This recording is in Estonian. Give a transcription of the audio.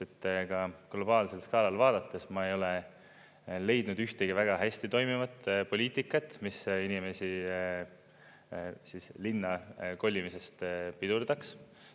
Ka globaalsel skaalal vaadates ma ei ole leidnud ühtegi väga hästi toimivat poliitikat, mis inimeste linna kolimist pidurdaks.